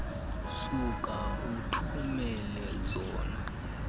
suka uthumele zona